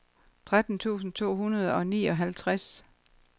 tretten tusind to hundrede og nioghalvtreds